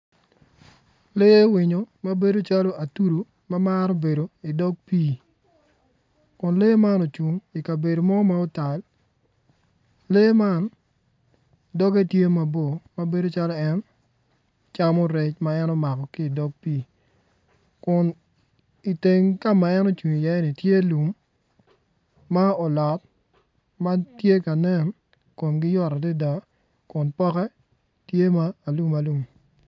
Lee winyo mabedo calo atudu ma maro bedo i dog pii kun lee man cung i kabedo ma otal lee man doge tye mabor mabedo calo en camo rec ma en omako ki dog pii kun iteng ka ma en ocung i iye ni tye i iye lum ma olot ma tye ka nen komgi yot adada dok poke tye ma alum alum